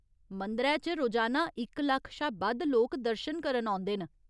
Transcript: मंदरै च रोजाना इक लक्ख शा बद्ध लोक दर्शन करन औंदे न।